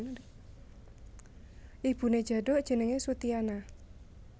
Ibuné Djaduk jenengé Soetiana